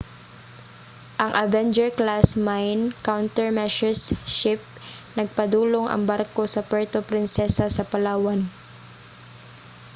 ang avenger-class mine countermeasures ship nagpadulong ang barko sa puerto princesa sa palawan